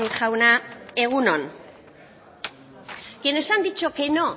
jauna egun on quienes han dicho que no